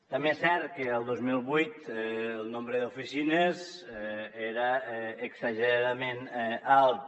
també és cert que el dos mil vuit el nombre d’oficines era exageradament alt